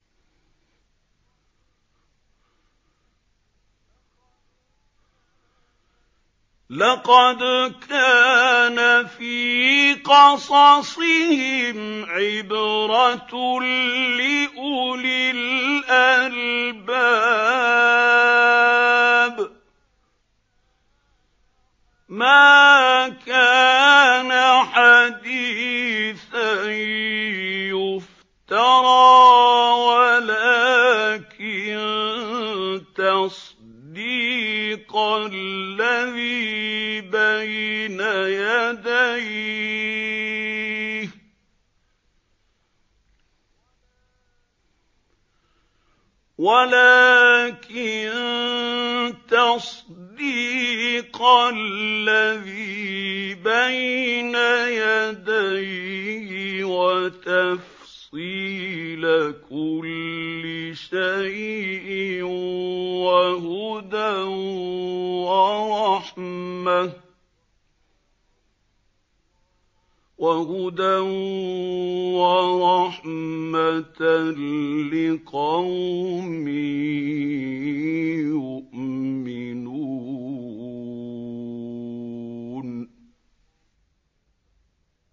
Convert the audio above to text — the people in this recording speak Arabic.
لَقَدْ كَانَ فِي قَصَصِهِمْ عِبْرَةٌ لِّأُولِي الْأَلْبَابِ ۗ مَا كَانَ حَدِيثًا يُفْتَرَىٰ وَلَٰكِن تَصْدِيقَ الَّذِي بَيْنَ يَدَيْهِ وَتَفْصِيلَ كُلِّ شَيْءٍ وَهُدًى وَرَحْمَةً لِّقَوْمٍ يُؤْمِنُونَ